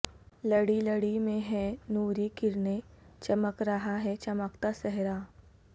لڑی لڑی میں ہیں نوری کرنیں چمک رہا ہے چمکتا سہرا